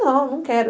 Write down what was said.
Não, não quero.